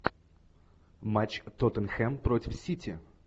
матч тоттенхэм против сити